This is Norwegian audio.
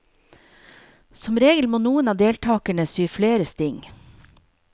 Som regel må noen av deltagerne sy flere sting.